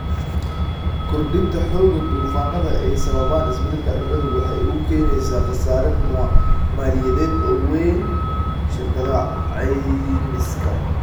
Kordhinta xoogga duufaannada ay sababaan isbeddelka cimiladu waxay u keenaysaa khasaare maaliyadeed oo weyn shirkadaha caymiska.